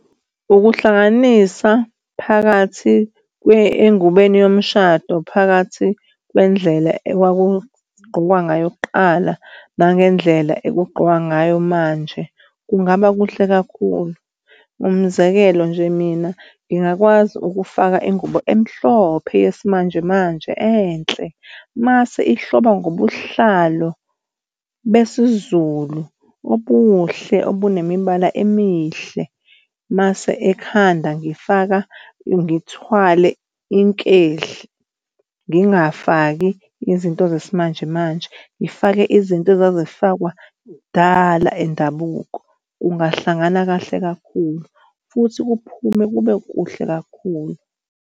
Ukuhlanganisa phakathi engubeni yomshado phakathi kwendlela ekwakugqokwani ngayo kuqala nangendlela okugqokwa ngayo manje kungaba kuhle kakhulu. Umzekelo nje mina ngingakwazi ukufaka ingubo emhlophe yesimanjemanje enhle mase ihlobo ngobuhlalo besiZulu obuhle, obunemibala emihle, mase ekhanda ngifaka ngithwale inkehli. Ngingafaki izinto zesimanjemanje, ngifake izinto ezazifakwa kudala endabuko. Kungahlangana kahle kakhulu futhi kuphume kube kuhle kakhulu.